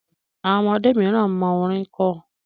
Àwọn ọmọdé miran mọ orin kọ